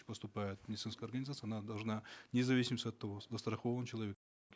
поступают в медицинскую организацию она должна вне зависимости от того застрахован человек